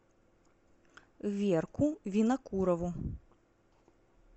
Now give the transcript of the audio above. верку винокурову